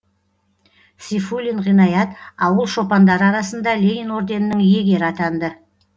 сейфуллин ғинаят ауыл шопандары арасында ленин орденінің иегері атанды